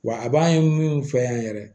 Wa a b'an ye min fɛ yan yɛrɛ